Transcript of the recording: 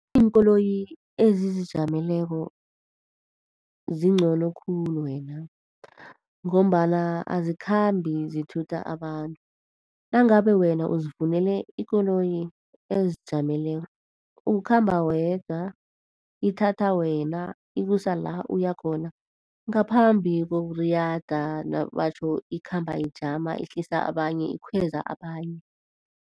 Iinkoloyi ezizijameleko zingcono khulu wena, ngombana azikhambi zithutha abantu. Nangabe wena uzifunele ikoloyi ezijameleko ukhamba wedwa, ithatha wena ikusa la uyakhona. Ngaphambi kokuriyada nabatjho ikhamba ijama ihlisa abanye, ikhweza abanye.